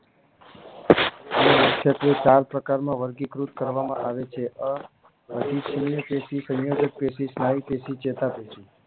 મુખ્યત્વે ચાર પ્રકારના વર્ગીકૃત કરવામાં આવે છે અધિચ્છયપેશી સંયોજકપેશી સ્નાયુપેશી ચેતાપેશી